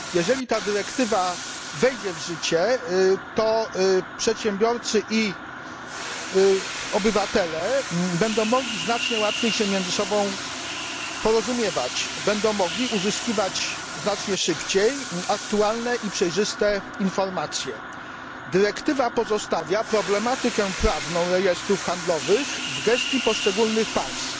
Jeżeli ta dyrektywa wejdzie w życie, to przedsiębiorcy i obywatele będą mogli znacznie łatwiej porozumiewać się między sobą, będą mogli uzyskiwać znacznie szybciej aktualne i przejrzyste informacje. Dyrektywa pozostawia problematykę prawną rejestrów handlowych w gestii poszczególnych państw.